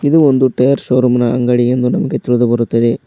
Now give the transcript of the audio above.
ಇದು ಒಂದು ಟಯರ್ ಶೋರೂಮಿನ ಅಂಗಡಿಯಿಂದ ನಮಗೆ ತಿಳಿದು ಬರುತ್ತದೆ.